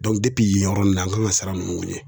yen yɔrɔ nun na an kan ŋa sira nunun ɲɛ